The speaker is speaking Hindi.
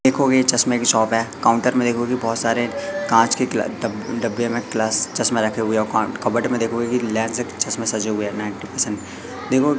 देखोगे चश्मे की शॉप है काउंटर में देखोगे बहोत सारे कांच के क ड डब्बे में प्लस चश्मे रखे हुए हैं कॉन कबर्ड में देखोगे की लेन से चश्मे सजे हुए हैं नाइंटी परसेंट देखो--